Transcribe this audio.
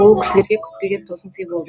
ол кісілерге күтпеген тосынсый болды